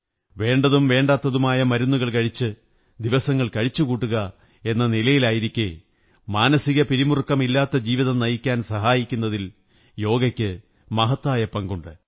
വേണ്ടതും വേണ്ടാത്തതുമായ മരുന്നുകൾ കഴിച്ച് ദിവസങ്ങൾ കഴിച്ചുകൂട്ടുക എന്ന നിലയിലായിരിക്കെ മാനസിക പിരിമുറുക്കമില്ലാത്ത ജീവിതം നയിക്കാൻ സഹായിക്കുന്നതിൽ യോഗയ്ക്ക് മഹത്തായ പങ്കുണ്ട്